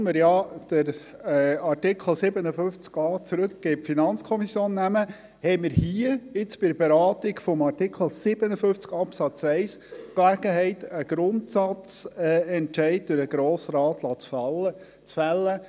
Obschon wir den Artikel 57a in die FiKo zurücknehmen, haben wir mit der Beratung von Artikel 57 Absatz 1 die Gelegenheit, einen Grundsatzentscheid durch den Grossen Rat fällen zu lassen: